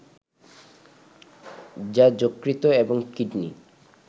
যা যকৃত এবং কিডনি